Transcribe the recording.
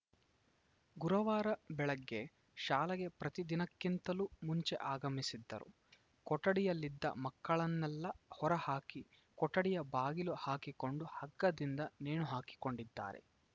ಗುರುವಾರ ಬೆಳಗ್ಗೆ ಶಾಲೆಗೆ ಪ್ರತಿ ದಿನಕ್ಕಿಂತಲೂ ಮುಂಚೆ ಆಗಮಿಸಿದ್ದರು ಕೊಠಡಿಯಲ್ಲಿದ್ದ ಮಕ್ಕಳನ್ನೆಲ್ಲ ಹೊರ ಹಾಕಿ ಕೊಠಡಿಯ ಬಾಗಿಲು ಹಾಕಿಕೊಂಡು ಹಗ್ಗದಿಂದ ನೇಣು ಹಾಕಿಕೊಂಡಿದ್ದಾರೆ